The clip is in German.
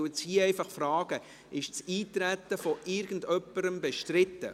Ich frage jetzt hier: Ist das Eintreten von irgendjemandem bestritten?